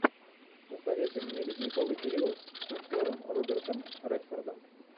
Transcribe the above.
посоветуй мне ледниковый период с актером робертом редфордом